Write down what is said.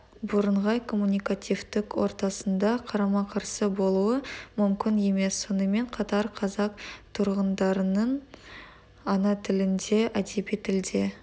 бірыңғай коммуникативтік ортасында қарама-қарсы болуы мүмкін емес сонымен қатар қазақ тұрғындарының ана тілінде әдеби тілде